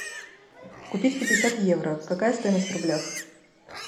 купить пятьдесят евро какая стоимость в рублях